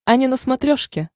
ани на смотрешке